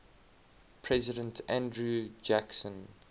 president andrew jackson